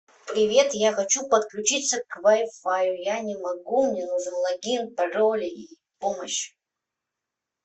привет я хочу подключиться к вай фаю я не могу мне нужен логин пароль и помощь